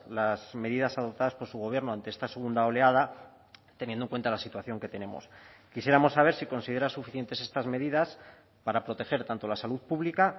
las medidas adoptadas por su gobierno ante esta segunda oleada teniendo en cuenta la situación que tenemos quisiéramos saber si considera suficientes estas medidas para proteger tanto la salud pública